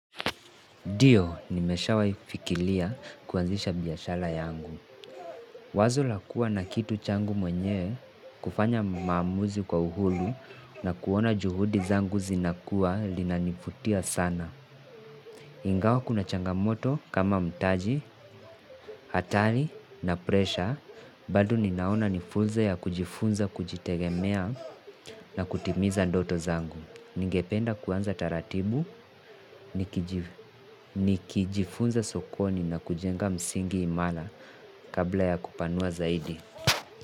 Ndio, nimeshawahi fikiria kuanzisha biashara yangu. Wazo lakua na kitu changu mwenyewe, kufanya maamuzi kwa uhuru na kuona juhudi zangu zinakua linanivutia sana. Ingawa kuna changamoto kama mtaji, hatari na presha, bado ninaona nifunzo ya kujifunza kujitegemea na kutimiza ndoto zangu. Ningependa kuanza taratibu, nikijifunza sokoni na kujenga msingi imala kabla ya kupanua zaidi.